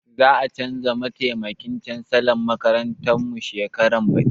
Za a canza mataimakin cansalan makarantar mu shekaran baɗi.